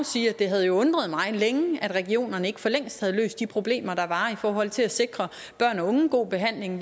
sige at det havde undret mig længe at regionerne ikke for længst havde løst de problemer der var i forhold til at sikre børn og unge en god behandling